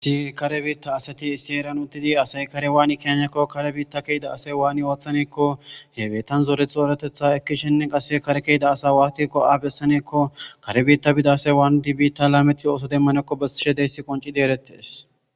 Si kare biitta asati issi eran uddidi asayi kare waan keniyakko kare biitta kehida asay waani ooththaneekko yebetan zooretxooratetha ekkishenne qase kare kehida asa waatikko aabessaneekko kare biitta bida asay waani di biitta laameti ooso demmanekko besishe deyssi qonci deerettees